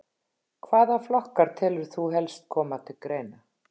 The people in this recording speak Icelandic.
Hvaða flokkar telur þú helst koma til greina?